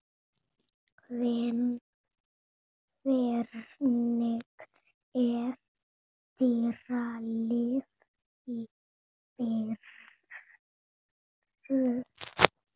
Hvernig er dýralíf í Perú?